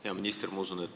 Hea minister!